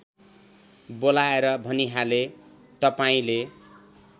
बोलाएर भनिहाले तपाईँंले